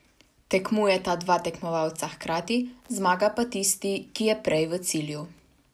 Tekmujeta dva tekmovalca hkrati, zmaga pa tisti, ki je prej v cilju.